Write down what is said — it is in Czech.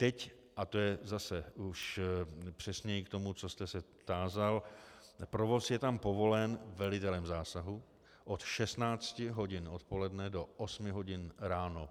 Teď, a to je zase už přesněji k tomu, co jste se tázal, provoz je tam povolen velitelem zásahu od 16 hodin odpoledne do 8 hodin ráno.